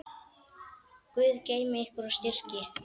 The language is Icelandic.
Guð geymi ykkur og styrki.